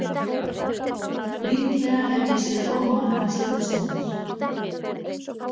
Líklega hef ég séð of margar stríðsmyndir.